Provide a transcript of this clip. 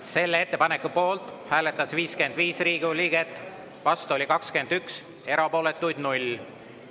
Selle ettepaneku poolt hääletas 55 Riigikogu liiget, vastu oli 21, erapooletuid 0.